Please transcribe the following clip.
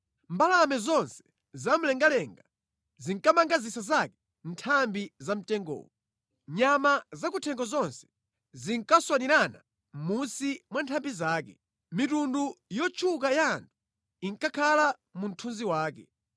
Mbalame zonse zamlengalenga zinkamanga zisa zake mʼnthambi za mtengowo. Nyama zakuthengo zonse zinkaswanirana mʼmunsi mwa nthambi zake. Mitundu yotchuka ya anthu inkakhala mu mthunzi wake.